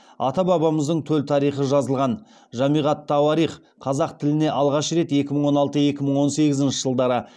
ата бабамыздың төл тарихы жазылған жамиғ ат тауарих қазақ тіліне алғаш рет екі мың он алты екі мың он сегізінші жылдары